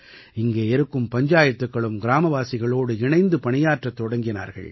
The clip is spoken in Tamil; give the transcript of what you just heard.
இங்கே இருக்கும் பஞ்சாயத்துக்களும் கிராமவாசிகளோடு இணைந்து பணியாற்றத் தொடங்கினார்கள்